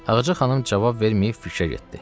Ağacə xanım cavab verməyib fikrə getdi.